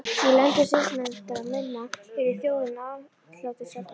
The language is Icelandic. Í löndum siðmenntaðra manna yrði þjóðin aðhlátursefni.